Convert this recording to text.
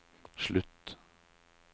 slutt